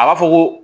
A b'a fɔ ko